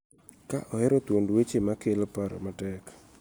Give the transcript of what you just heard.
Ka ohero thuond weche ma kelo paro matek